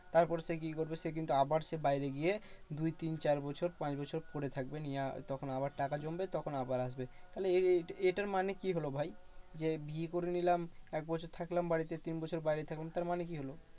তারপর সে কি করবে? সে কিন্তু আবার সে বাইরে গিয়ে দুই তিন চার বছর পাঁচ বছর পরে থাকবে। নিয়ে আর তখন আবার টাকা জমবে তখন আবার আসবে। তাহলে এ এটার মানে কি হলো ভাই? যে বিয়ে করে নিলাম এক বছর থাকলাম বাড়িতে তিন বাইরে থাকলাম, তার মানে কি হলো?